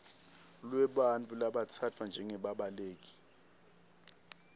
lwebantfu labatsatfwa njengebabaleki